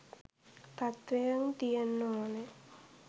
තත්ත්වයෙන් තියෙන්න ඕනෑ.